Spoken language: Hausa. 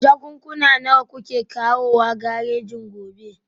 Jakunkuna nawa kuke kawowa garejin gobe?